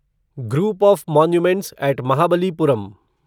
group of monuments at Mahabalipuram